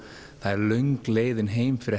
það er löng leiðin heim fyrir